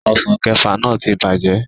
Ọsàn kẹẹ̀fà náà ti bàjẹ́